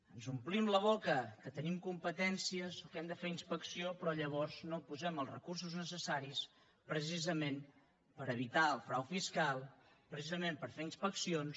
ens omplim la boca que tenim competències o que hem de fer inspecció però llavors no posem els recursos necessaris precisament per evitar el frau fiscal precisament per fer inspeccions